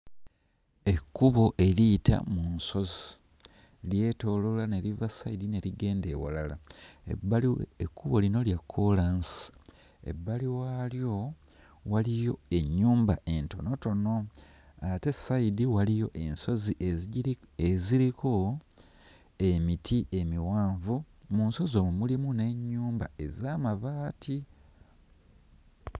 Ekkubo eriyita mu nsozi, lyetooloola ne liva sayidi ne ligenda ewalala. Ebbali we... ekkubo lino lya kkoolansi, ebbali waalyo waliyo ennyumba entonotono ate sayidi waliyo ensozi ezigiri... eziriko emiti emiwanvu. Mu nsozi omwo mulimu n'ennyumba ez'amabaati.